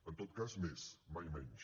en tot cas més mai menys